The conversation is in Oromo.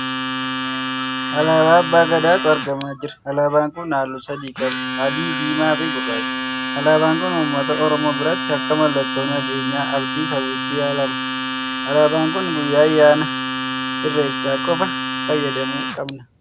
Alaabaa Abbaa Gadaatu argamaa jira. Alaabaan kun halluu sadii qaba: adii, diimaa fi gurraacha. Alaabaan kun uummata Oromoo biratti akka mallattoo nageenyaa, abdii fi hawwiitti ilaalama. Alaabaan kun guyyaa ayyaana Irrechaa qofa fayyadamuu qabnaa?